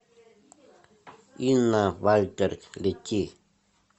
инна вальтер лети